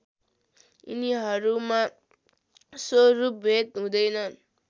यिनीहरूमा स्वरूपभेद हुँदैन